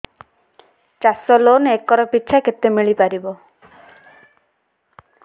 ଚାଷ loan acre ପିଛା କେତେ ମିଳି ପାରିବ